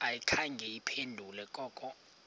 ayikhange iphendule koko